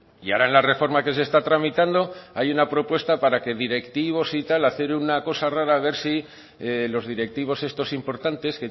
y ahora en la reforma que se está tramitando hay una propuesta para que directivos y tal hacer una cosa rara a ver si los directivos estos importantes